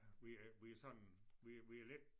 Vi er vi er sådan vi vi er lidt